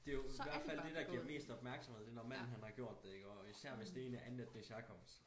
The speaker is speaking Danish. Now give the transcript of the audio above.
Det jo hvert fald det der giver mest opmærksomhed det når manden han har gjort det iggå og især hvis det en af andenetnisk herkomst